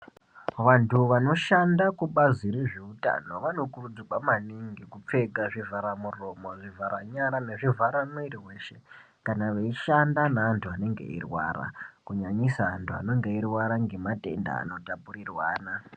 Vantu vanoshanda kubazi rezveutano vanokurudzirwa maningi kupfeka zvivhara muromo, zvivhara nyara nezvivhara mwiri veshe. Kana veishanda nevantu vanenge veirwara kunyanyisa vantu vanenge veirwara ngematenda anotapurirwana.